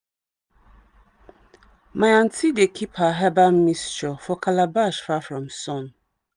my aunty dey keep her herbal mixture for calabash far from sun.